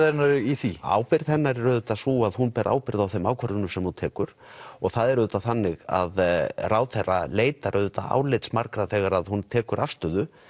hennar í því ábyrgð hennar er auðvitað sú að hún ber ábyrgð á þeim ákvörðunum sem hún tekur og það er auðvitað þannig að ráðherra leitar auðvitað álits margra þegar hún tekur afstöðu